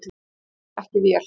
Ég er ekki vél.